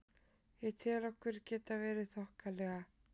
Ég tel okkur geta verið þokkalega.